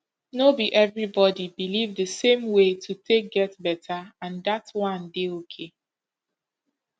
no be everybody believe the same way to take get better and dat one dey okay